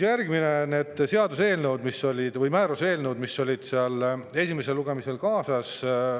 Järgmiseks need määruste eelnõud, mis olid esimesel lugemisel kaasas.